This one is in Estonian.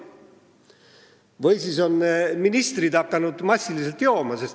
Või kas on ministrid hakanud massiliselt jooma?